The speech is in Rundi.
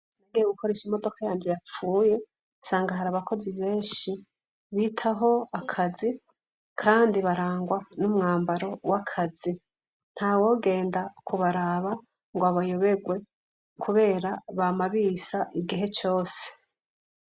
Nagiye gukoresha imodoka yanje yapfuye, nsanga hari abakozi benshi, bitaho akazi, kandi barangwa n'umwambaro w'akazi; ntawogenda kubaraba ngo abayoberwe kubera bama bisa igihe cose.